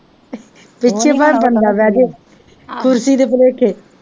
ਪਿੱਛੇ ਭਾਵੇਂ ਬੰਦਾ ਬਹਿ ਜਾਏ, ਕੁਰਸੀ ਦੇ ਭੁਲੇਖੇ